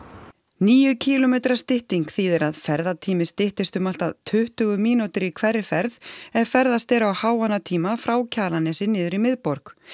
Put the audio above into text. níu kílómetra stytting þýðir að ferðatími styttist um allt að tuttugu mínútur í hverri ferð ef ferðast er á háannatíma frá Kjalarnesi niður í miðborg